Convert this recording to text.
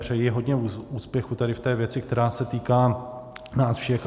Přeji hodně úspěchů tady v té věci, která se týká nás všech.